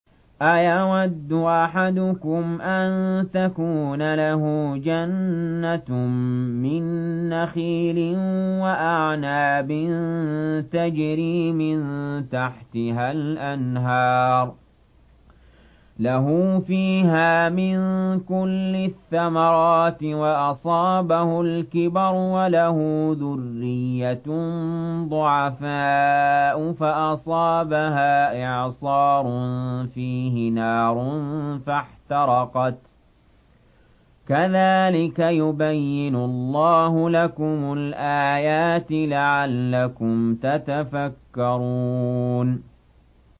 أَيَوَدُّ أَحَدُكُمْ أَن تَكُونَ لَهُ جَنَّةٌ مِّن نَّخِيلٍ وَأَعْنَابٍ تَجْرِي مِن تَحْتِهَا الْأَنْهَارُ لَهُ فِيهَا مِن كُلِّ الثَّمَرَاتِ وَأَصَابَهُ الْكِبَرُ وَلَهُ ذُرِّيَّةٌ ضُعَفَاءُ فَأَصَابَهَا إِعْصَارٌ فِيهِ نَارٌ فَاحْتَرَقَتْ ۗ كَذَٰلِكَ يُبَيِّنُ اللَّهُ لَكُمُ الْآيَاتِ لَعَلَّكُمْ تَتَفَكَّرُونَ